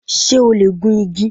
Ṣé o lè gun igi?